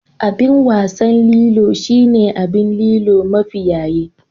Abin wasan Lilo shine abin Lilo mafi yaye